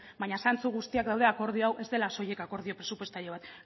baina zantzu guztiak daude akordio hau ez dela soilik akordio presupuestario bat